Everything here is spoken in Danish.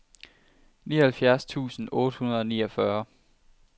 nioghalvfjerds tusind otte hundrede og niogfyrre